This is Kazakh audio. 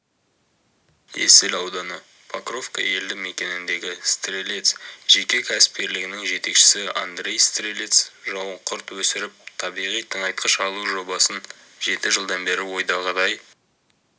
есіл ауданы покровка елді мекеніндегі стрелец жеке кәсіпкерлігінің жетекшісі андрей стрелец жауынқұрт өсіріп табиғи тыңайтқыш алу жобасын жеті жылдан бері ойдағыдай